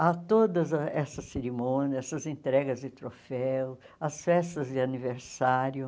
Há todas ah essas cerimônias, essas entregas de troféus, as festas de aniversário.